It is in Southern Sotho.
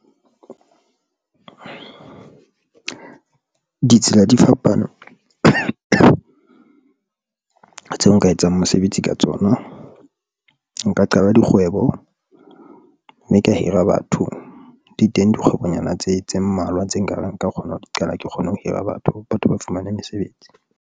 Ditsela di fapane tseo nka etsang mosebetsi ka tsona. Nka qala dikgwebo mme ka hira batho di teng dikgwebonyana tse mmalwa tse nka kgona ho qala ke kgone ho hira batho. Batho ba fumane mesebetsi.